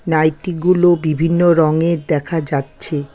নাইটিগুলো বিভিন্ন রঙের দেখা যাচ্ছে।